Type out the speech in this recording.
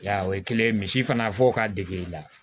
Ya o ye kelen ye misi fana fɔ ka degeli la